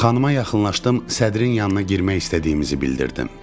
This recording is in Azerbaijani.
Xanama yaxınlaşdım, sədrin yanına girmək istədiyimizi bildirdim.